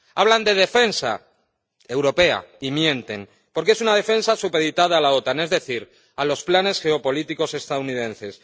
Hablan de defensa europea y mienten, porque es una defensa supeditada a la OTAN, es decir, a los planes geopolíticos estadounidenses.